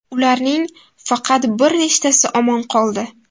Ularning faqat bir nechtasi omon qoldi.